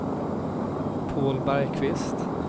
Paul Bergqvist